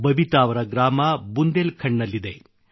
ಬಬಿತಾ ಅವರ ಗ್ರಾಮ ಬುಂದೇಲ್ ಖಂಡದಲ್ಲಿದೆ